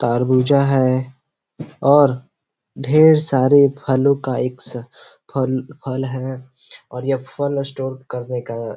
तरबूजा है और ढेर सारे फलों का एक फल फल है और यह फल स्टोर करने का --